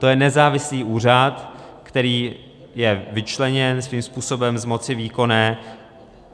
To je nezávislý úřad, který je vyčleněn svým způsobem z moci výkonné.